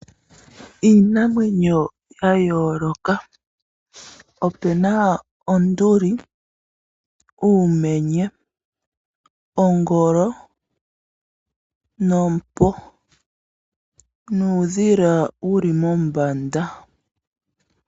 Iinamwenyo yayoloka. Opena onduli, uumenye, ongolo noompo, nuudhila wuli mombanda.